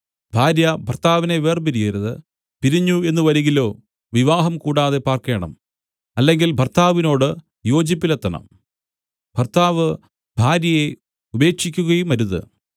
ഭാര്യ ഭർത്താവിനെ വേർപിരിയരുത് പിരിഞ്ഞു എന്നു വരികിലോ വിവാഹം കൂടാതെ പാർക്കേണം അല്ലെങ്കിൽ ഭർത്താവിനോട് യോജിപ്പിലെത്തണം ഭർത്താവ് ഭാര്യയെ ഉപേക്ഷിക്കുകയുമരുത്